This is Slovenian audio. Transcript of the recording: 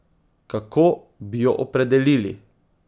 Kako bi jo opredelili?